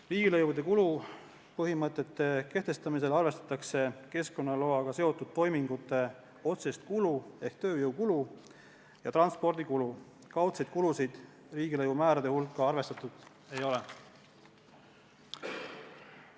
Riigilõivude kulupõhimõtete kehtestamisel arvestatakse keskkonnaloaga seotud toimingute otsest kulu ehk tööjõukulu ja transpordikulu, kaudseid kulusid riigilõivumäärade hulka arvestatud ei ole.